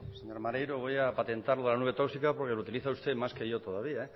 señor voy maneiro voy a patentar lo de la nube tóxica porque lo utiliza usted más que yo todavía